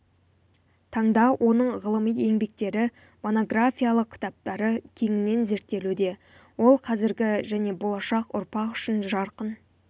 таңда оның ғылыми еңбектері монографиялық кітаптары кеңінен зерттелуде ол қазіргі және болашақ ұрпақ үшін жарқын